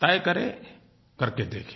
तय करें करके देखें